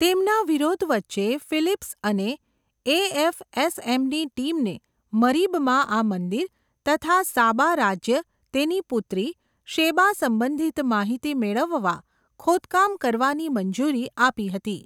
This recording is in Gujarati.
તેમના વિરોધ વચ્ચે, ફિલીપ્સ અને, એએફએસએમની ટીમને મરીબમાં આ મંદિર, તથા સાબા રાજ્ય તેની પુત્રી, શેબા સંબંધિત માહિતી મેળવવા, ખોદકામ કરવાની મંજૂરી આપી હતી.